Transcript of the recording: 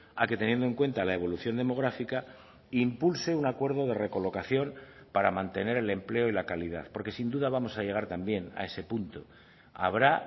a que teniendo en cuenta la evolución demográfica impulse un acuerdo de recolocación para mantener el empleo y la calidad porque sin duda vamos a llegar también a ese punto habrá